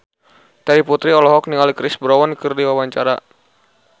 Terry Putri olohok ningali Chris Brown keur diwawancara